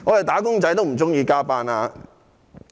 "打工仔"也不喜歡加班。